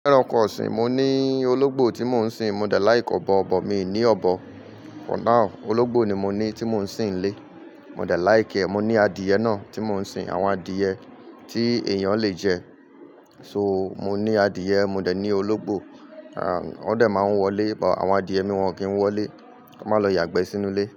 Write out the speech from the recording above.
Lẹ́ran nkọ ọ̀sìn, mo ní ológbò tí mo ń sìn. Mò dẹ̀ láì kọ́ bọ́ ọ̀bọ̀, mi ò ní ọ̀bọ̀. Ológbò ni mo ní tí mo ń sìn lé. Mò dẹ̀ láì kẹ́, mo ní adìẹ náà tí mo ń sìn. Àwọn adìẹ tí èèyàn le jẹ. So, mo ní adìẹ, mo dẹ̀ ní ológbò. Àwọn dẹ̀ máa ń wọlé, but àwọn adìẹ mi wọ́n kì í wọlé. Wọ́n máa lọ yàgbẹ́ sínú ilé.